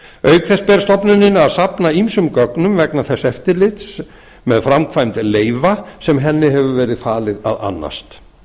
auk þess ber stofnuninni að safna ýmsum gögnum vegna þess eftirlits með framkvæmd leyfa sem henni hefur verið falið að annast